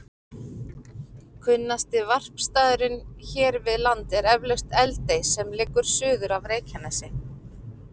Kunnasti varpstaðurinn hér við land er eflaust Eldey sem liggur suður af Reykjanesi.